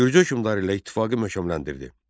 Gürcü hökmdarı ilə ittifaqı möhkəmləndirdi.